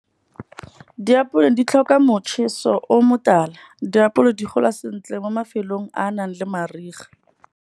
Diapole di tlhoka motjheso o motala, diapole di gola sentle mo mafelong a a nang le mariga.